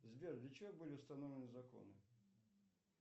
сбер для чего были установлены законы